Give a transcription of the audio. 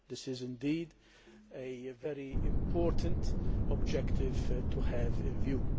This is indeed a very important objective to have in view.